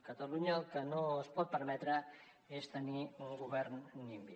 catalunya el que no es pot permetre és tenir un govern nimby